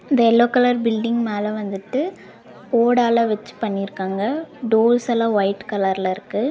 இந்த yellow colour building மேல வந்துட்டு ஓடால வெச்சு பண்ணி இருக்காங்க டோர்ஸ்ஸல்லா ஒயிட் கலர்ல இருக்கு.